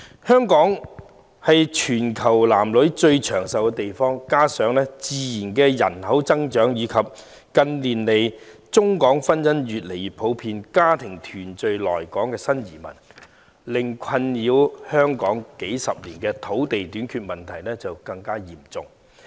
香港是全球男女最長壽的地區，加上自然人口增長及近年中港婚姻越見普遍，為家庭團聚來港的新移民令困擾香港數十年的土地短缺問題更為嚴重。